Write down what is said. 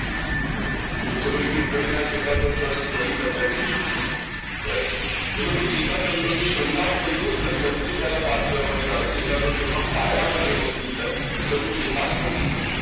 ચલે કે કરીને આ ચેતાતંત્રને study કરતા જઈએ right તો કે ચેતાતંત્રની શરૂઆત સૌથી પહેલા વાત કરવાની આવે ચેતાતંત્રમાં પાયામાં જે વસ્તુ છે એટલે ચેતાકોષની